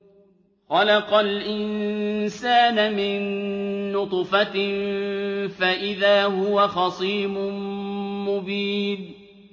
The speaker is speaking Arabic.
خَلَقَ الْإِنسَانَ مِن نُّطْفَةٍ فَإِذَا هُوَ خَصِيمٌ مُّبِينٌ